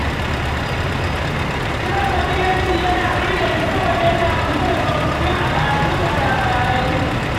Kiɗan ƙabilanci yana burge ni saboda yana ƙunshe da tsofaffin al’adu da labarai.